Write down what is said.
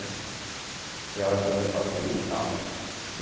Já vai fazer facul e tal.